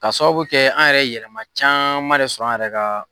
Ka sababu kɛ an yɛrɛ yɛlɛma caman de sɔrɔ an yɛrɛ ka